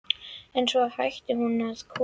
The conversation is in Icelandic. En svo hættir hún að koma.